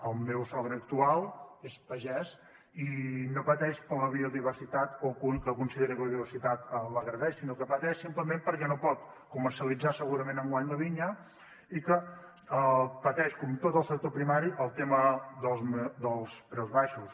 el meu sogre actual és pagès i no pateix per la biodiversitat o que consideri que la biodiversitat l’agredeix sinó que pateix simplement perquè no pot comercialitzar segurament enguany la vinya i que pateix com tot el sector primari el tema dels preus baixos